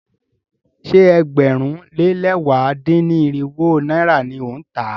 Ṣé ẹgbẹ̀rún lé lẹ̀wá dín-ní-irinwó náírà ni ó ń tà á?